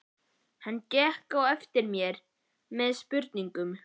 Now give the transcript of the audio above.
Hann gekk á eftir mér með spurningum.